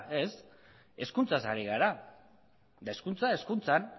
ez hezkuntzaz ari gara eta hezkuntza hezkuntzan